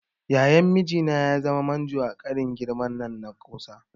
Yayan mijina ya zama manjo a ƙarin girman nan na kusa.